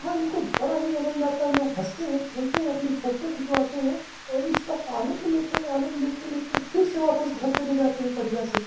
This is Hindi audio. वहां इनको बड़ा ही आनंद आता है। लोग हंसते हैं खेलते हैं अपनी फोटो खिंचवाते हैं और इसका आनंद लेते हैं और आनंद लेते लेते फिर से वापस घर चले जाते हैं बढ़िया से।